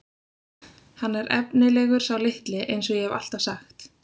Hann er efnilegur sá litli eins og ég hef alltaf sagt.